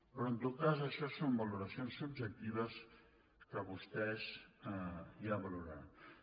però en tot cas això són valoracions subjectives que vostès ja valoraran